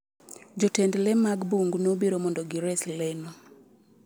Jotend le mag bungu nobiro mondo gires leno.